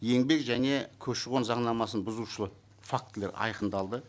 еңбек және көші қон заңнамасын бұзушылық фактілер айқындалды